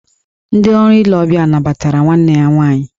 Ndị ọrụ ile ọbịa nabatara nwanne ya nwaanyị